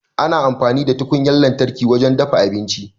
Ana amfani da tukunyar lantarki wajen dafa abinci.